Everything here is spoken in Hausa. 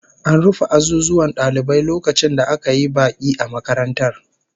An rufe azuzuwan dalibai lokacin da aka yi baki a makarantar